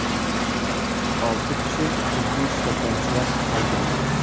Olti kishi jiddiy shikastlanishlar olgan.